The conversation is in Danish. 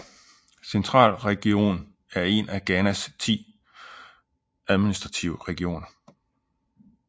Central Region er en af Ghanas ti administrative regioner